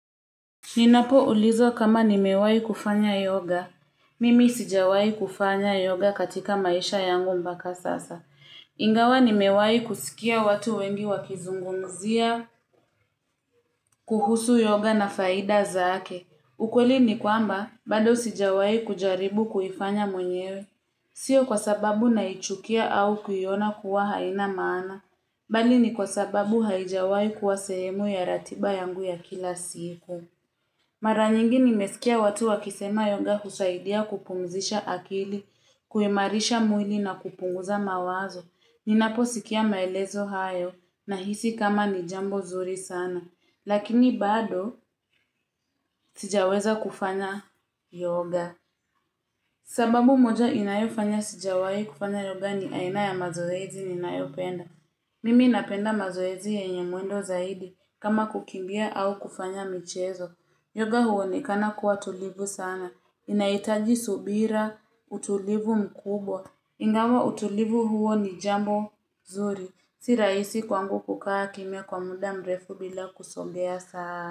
Ninapo ulizwa kama nimewai kufanya yoga. Mimi sijawai kufanya yoga katika maisha yangu mpaka sasa. Ingawa nimewai kusikia watu wengi wakizungumzia, kuhusu yoga na faida zaake. Ukweli ni kwamba, bado sijawai kujaribu kuhifanya mwenyewe. Sio kwa sababu naichukia au kuiona kuwa haina maana, bali ni kwa sababu haijawai kuwa sehemu ya ratiba yangu ya kila siku. Mara nyingi nimesikia watu wakisema yoga usaidia kupumzisha akili, kuimarisha mwili na kupunguza mawazo. Ninapo sikia maelezo hayo nahisi kama ni jambo nzuri sana. Lakini bado sijaweza kufanya yoga. Sababu moja inayofanya sijawai kufanya yoga ni aina ya mazoezi ninayopenda. Mimi napenda mazoezi yenye mwendo zaidi kama kukimbia au kufanya michezo. Yoga uonekana kuwa tulivu sana. Inaitaji subira, utulivu mkubwa. Ingawa utulivu huo ni jambo nzuri. Si rahisi kwangu kukaa kimya kwa muda mrefu bila kusombea sana.